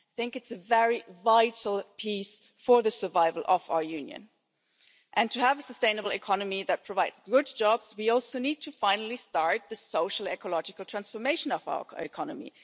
it is a very vital piece for the survival of our Union. To have a sustainable economy that provides good jobs, we also need to finally start the social ecological transformation of our economy.